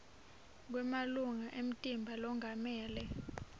kwemalunga emtimba longamele